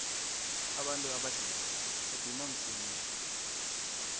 abantu abadege badinwa msinya